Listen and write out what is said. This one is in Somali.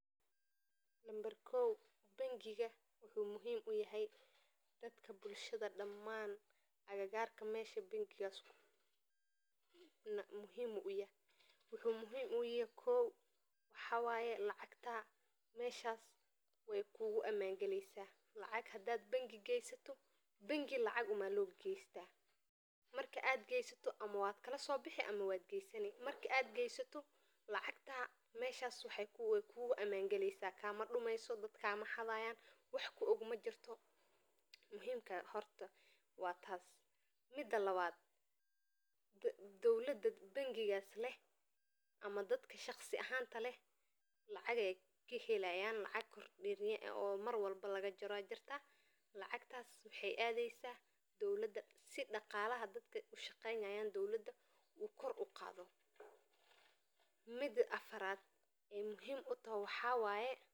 Nambar kow bangiga wuxuu muhiim u yahay dadka bulshaada daman agagarka bangigas, wuxuu muhiim uyahay kiw waxaa waye lacagtadha meshas we kugu aman galeysa lacag hada bangi gesato lacag bangi uma lagesta marka gesatana waun kala sobixi ama waad gesani, marka aad gesato lacagta we kugu aman gali medhas kama dumeyso dad kama xadhayo mida kowad waa tas, mida lawaad dowlaada bangigas leh lacag ayey kahelayin lacag mar walbo laga jaro aya jirta lacagtas waxee adheysa si daqalaha dowlaada ushaqeynayan u kor uqadho, mida afaraad ee muhiim utoho macaa waye.